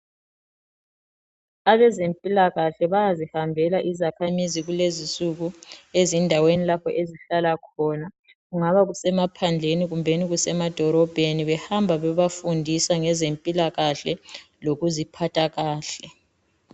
Abezempilakahle bayazihambela izakhamizi kulezisuku ezindaweni lapho ezihlala khona. Kungaba kusemaphandleni kumbeni kusemadorobheni, behamba bebafundisa ngezempilakahle lokuziphatha kahle.